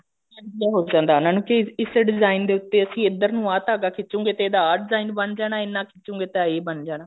idea ਹੋ ਜਾਂਦਾ ਉਹਨਾਂ ਨੂੰ ਕਿ ਇਸ ਚ design ਦੇ ਉੱਤੇ ਅਸੀਂ ਏਧਰ ਨੂੰ ਆਹ ਧਾਗਾ ਖਿੱਚੋਗੇ ਤੇ ਇਹਦਾ ਆਹ design ਬਣ ਜਾਣਾ ਇੰਨਾ ਖਿੱਚੋਗੇ ਤਾ ਇਹ ਬਣ ਜਾਣਾ